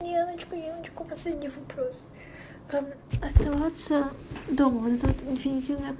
девочка девочка последний вопрос а оставаться дома интенсивной